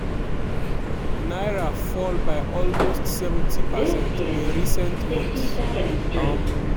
naira fall by almost 70 percent in recent months. um